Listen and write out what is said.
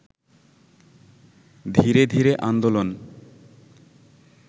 ধীরে ধীরে আন্দোলন